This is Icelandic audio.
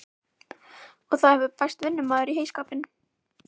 Og það hefur bæst vinnumaður í heyskapinn.